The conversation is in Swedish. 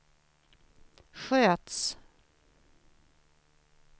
sköts